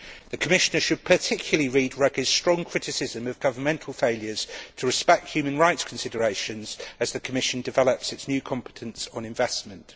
The Commissioner should particularly read Ruggie's strong criticism of governmental failures to respect human rights considerations as the Commission develops its new competence on investment.